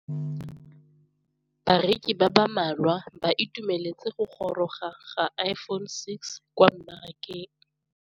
Bareki ba ba malwa ba ituemeletse go gôrôga ga Iphone6 kwa mmarakeng.